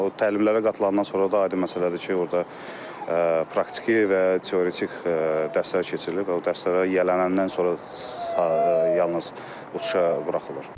O təlimlərə qatıldıqdan sonra da aydın məsələdir ki, orada praktiki və teoretik dərslər keçirilir və o dərslərə yiyələndikdən sonra yalnız uçuşa buraxılır.